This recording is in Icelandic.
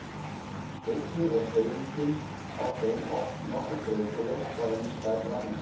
Einnig er hreyfingin á þeim oft nokkuð breytileg frá einum stað til annars.